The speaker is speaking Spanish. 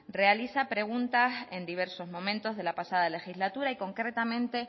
realiza preguntas en diversos momentos de la pasada legislatura y concretamente